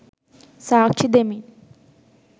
සාක්ෂි දෙමින්